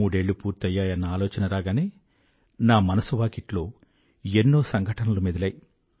మూడేళ్లు పూర్తయ్యాయన్న ఆలోచన రాగానే నా మనసు వాకిట్లో ఎన్నో సంఘటనలు మెదిలాయి